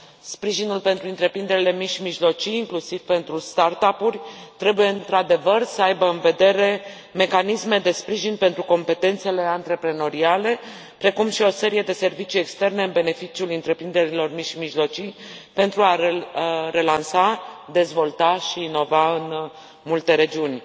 Sprijinul pentru întreprinderile mici și mijlocii, inclusiv pentru start up uri, trebuie, într adevăr, să aibă în vedere mecanisme de sprijin pentru competențele antreprenoriale, precum și o serie de servicii externe în beneficiul întreprinderilor mici și mijlocii pentru a relansa, dezvolta și inova în multe regiuni.